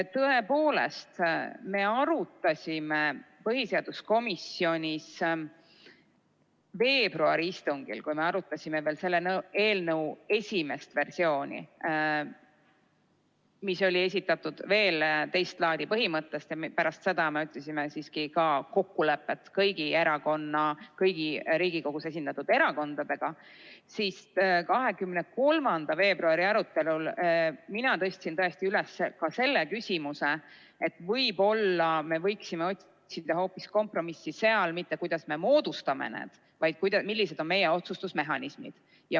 Tõepoolest, me arutasime põhiseaduskomisjonis veebruari istungil, kui me arutasime veel selle eelnõu esimest versiooni, mis oli esitatud veel teist laadi põhimõttest lähtudes – pärast seda me otsisime siiski kokkulepet kõigi Riigikogus esindatud erakondade vahel –, siis 23. veebruari arutelul mina tõstsin tõesti üles ka selle küsimuse, et äkki me võiksime otsida hoopis kompromissi mujal, st mitte selles, kuidas me moodustame need, vaid millised on meie otsustusmehhanismid.